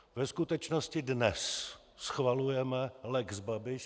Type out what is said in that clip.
Ve skutečnosti dnes schvalujeme lex Babiš.